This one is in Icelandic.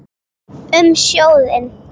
Um sjóðinn